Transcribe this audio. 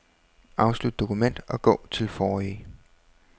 Afslut dokument og gå til forrige.